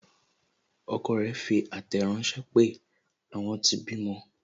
Ọkọ rẹ fi àtẹ̀ ránsẹ́ pé, àwọn tí bímọ